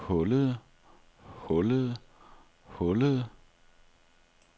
hullede hullede hullede